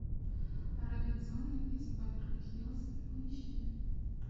робинзоны из беверли хиллз поищи